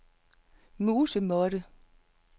musemåtte